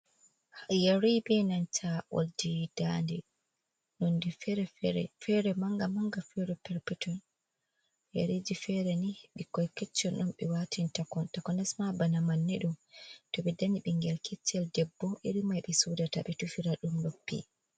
Yeri be nanta oldi dande. Nonde fere-fere. Fere manga-manga, fere petel petel. Yeriji fere ni ɓukkon on ɓe watin ta takanasma bana manne . To ɓe danyi bingel keccel debbo irin mai ɓe sodata ɓe tufira dum noppi.